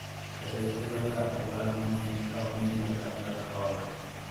pesa gi kelo ga ohala mang'eny ka omigi jokanyo kaka hola